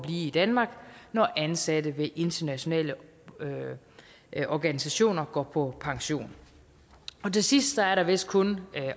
i danmark når ansatte ved internationale organisationer går på pension til sidst er der vist kun